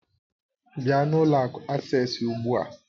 Bịa n'ụlọ akụ Asés ugbu a!